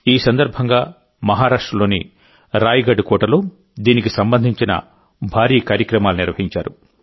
ఈ సందర్భంగా మహారాష్ట్రలోని రాయ్గఢ్ కోటలో దీనికి సంబంధించిన భారీ కార్యక్రమాలు నిర్వహించారు